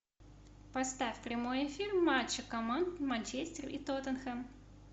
поставь прямой эфир матча команд манчестер и тоттенхэм